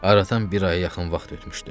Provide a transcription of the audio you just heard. Aradan bir aya yaxın vaxt ötmüşdü.